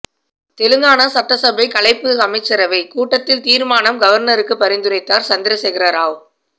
தெலுங்கானா சட்டசபை கலைப்பு அமைச்சரவை கூட்டத்தில் தீர்மானம் கவர்னருக்கு பரிந்துரைத்தார் சந்திரசேகரராவ்